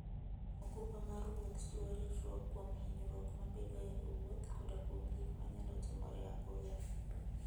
okumba mar wuoth chiwo ritruok kuom hinyruok mabedoe e wuoth koda kuom gik manyalo timore apoya.